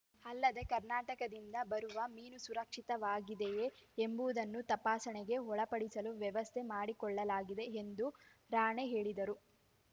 ಅಲ್ಲದೆ ಕರ್ನಾಟಕದಿಂದ ಬರುವ ಮೀನು ಸುರಕ್ಷಿತವಾಗಿದೆಯೇ ಎಂಬುವುದನ್ನು ತಪಾಸಣೆಗೆ ಒಳಪಡಿಸಲು ವ್ಯವಸ್ಥೆ ಮಾಡಿಕೊಳ್ಳಲಾಗಿದೆ ಎಂದು ರಾಣೆ ಹೇಳಿದರು